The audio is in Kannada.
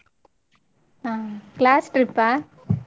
ಹ್ಮ್ class trip ಆ.